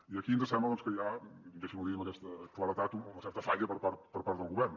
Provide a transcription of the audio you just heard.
i aquí ens sembla doncs que hi ha deixin m’ho dir amb aquesta claredat una certa falla per part del govern